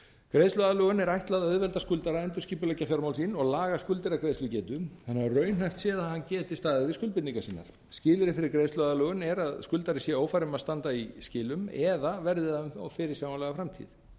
greiðsluaðlögun er ætlað að auðvelda skuldara að endurskipuleggja fjármál sín og laga skuldir að greiðslugetu þannig að raunhæft sé að hann geti staðið við skuldbindingar sínar skilyrði fyrir greiðsluaðlögun er að skuldari sé ófær um að standa í skilum eða verði það um fyrirsjáanlega framtíð